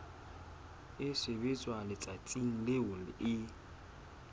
e sebetswa letsatsing leo e